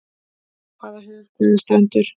Hvaða höf, hvaða strendur.